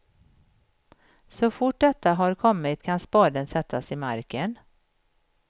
Så fort detta har kommit kan spaden sättas i marken.